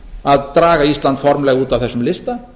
að draga ísland formlega út af þessum lista